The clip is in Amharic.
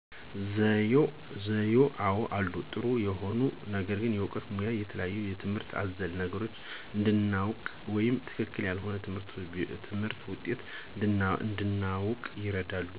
ዘዬ አወ አሉ። ጥሩ የሆነውን ነገር እውቀት ሙያ የተለያዩ ትምህርት አዘል ነገሮችን እንድናውቅ ወይም ትክክል ያልሆኑ የትምህርት ውጤቶች እንድናውቅ ይረዱናል።